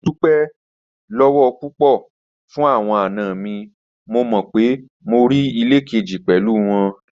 Mo dupẹ lọwọ pupọ fun awọn ana mi, mo mọ pe mo rii ile keji pẹlu wọn